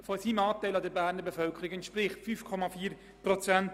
Dies sind im Moment 5,4 Prozent.